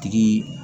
Tigi